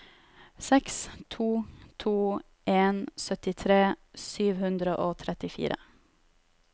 seks to to en syttitre sju hundre og trettifire